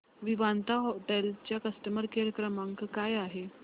Vivanta hotel चा customer care क्रमांक काय आहे